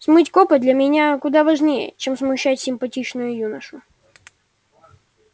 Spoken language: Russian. смыть копоть для меня куда важнее чем смущать симпатичного юношу